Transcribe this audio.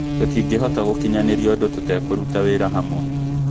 Tũtingĩhota gũkinyanĩria ũndũ tũtekũruta wĩra hamwe